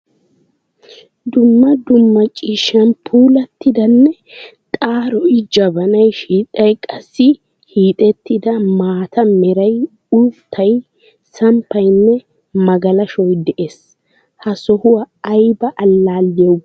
Dumma dumma ciishshan puulatidanne xaaroy, jabanay, shidhdhay, qassi hiixettida maataa meray, uuttay, samppaynne magalashoy de'ees. ha sohuwaa ayba allaliyawu go'ettiyo?